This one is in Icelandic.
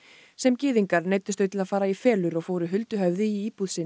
sem gyðingar neyddust þau til að fara í felur og fóru huldu höfði í íbúð sinni